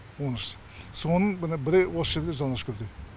он үш соның мына бірі осы жерде жалаңашкөлде